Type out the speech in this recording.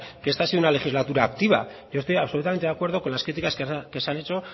que esta ha sido una legislatura activa yo estoy absolutamente de acuerdo con las críticas que se han hecho